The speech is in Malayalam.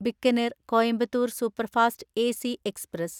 Bikaner Coimbatore‍ superfast AC express